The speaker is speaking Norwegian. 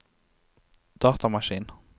datamaskin